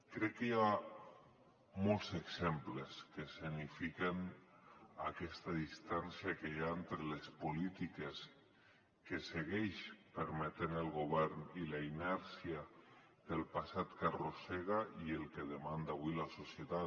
crec que hi ha molts exemples que escenifiquen aquesta distància que hi ha entre les polítiques que segueix permetent el govern i la inèrcia del passat que arrossega i el que demanda avui la societat